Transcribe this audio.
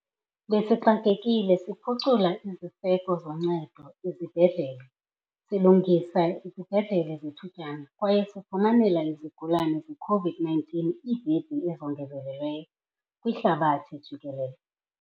"Besixakekile siphucula iziseko zoncedo ezibhedlele, silungisa izibhedlele zethutyana kwaye sifumanela izigulane zeCOVID-19 iibhedi ezongezelelweyo." kwihlabathi jikelele.